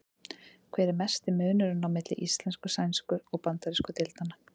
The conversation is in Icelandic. Hver er mesti munurinn á milli íslensku-, sænsku- og bandarísku deildanna?